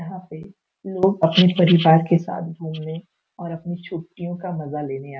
यहाँ पे लोग अपने परिवार के साथ घूमने और अपनी छुट्टियों का मज़ा लेने आ --